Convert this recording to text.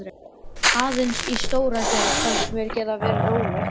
Aðeins í Stóragerði fannst mér ég geta verið róleg.